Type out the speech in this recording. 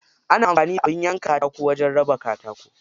Ana amfani da abin yanka katako wajen raba katako.